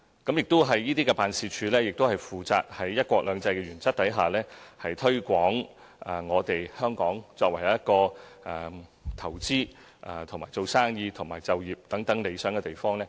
這些辦事處亦負責在"一國兩制"原則下，推廣香港作為投資、經商和就業的理想地方。